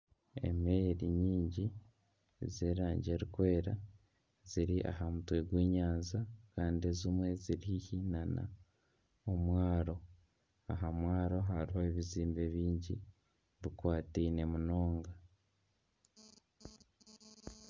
Emeeri nyingi z'erangi erikwera ziri aha mutwe gw'enyanja Kandi ezimwe ziri haihi nana omwaaro. Aha mwaaro hariho ebizimbe byingi bikwataine munonga.